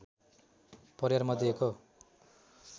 परिवारमध्ये एक हो